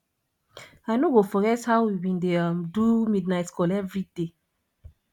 i no go forget how we bin dey um do midnight call everyday